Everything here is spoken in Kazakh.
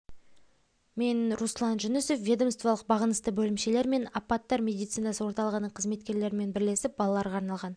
мен руслан жүнісов ведомстволық бағынысты бөлімшелер және мен апаттар медицинасы орталығының қызметкерлерімен бірлесіп балаларға арналған